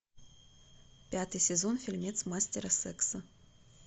пятый сезон фильмец мастера секса